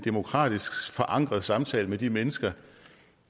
demokratisk forankret samtale med de mennesker